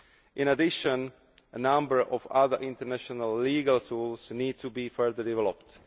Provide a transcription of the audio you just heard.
In addition a number of other international legal tools need to be further developed.